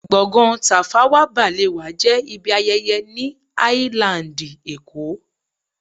Gbọ̀ngán Tafawa Balewa jẹ́ ibi ayẹyẹ ni áílándì èkó